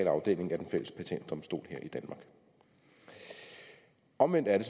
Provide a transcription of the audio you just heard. afdeling af den fælles patentdomstol her i danmark omvendt er